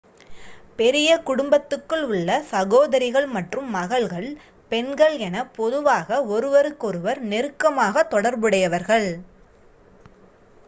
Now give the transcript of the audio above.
பெரிய குடும்பத்துக்குள் உள்ள சகோதரிகள் மற்றும் மகள்கள் பெண்கள் என பொதுவாக ஒருவருக்கொருவர் நெருக்கமாக தொடர்புடையவர்கள்